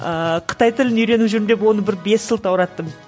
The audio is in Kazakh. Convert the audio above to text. ыыы қытай тілін үйреніп жүрмін деп оны бір бес сылтаураттым